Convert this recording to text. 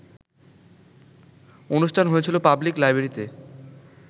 অনুষ্ঠান হয়েছিল পাবলিক লাইব্রেরিতে